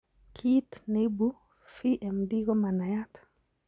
Kiit neibu FMD komanaiyaat